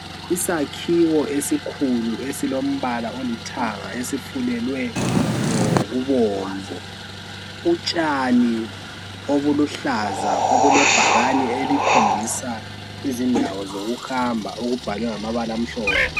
Isakhiwo esikhulu esilombala olithanga esifulelwe ngokubomvu , utshani obuluhlaza obulebhakani elikhombisa izindawo zokuhamba okubhalwe ngamabala amhlophe